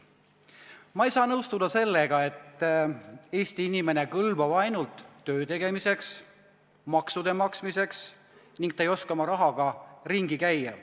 Ma ei saa nõustuda sellega, et Eesti inimene kõlbab ainult töö tegemiseks ja maksude maksmiseks ning et ta ei oska oma rahaga ringi käia.